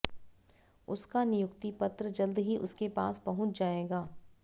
उसका नियुक्ति पत्र जल्द ही उसके पास पहुंच जाएगा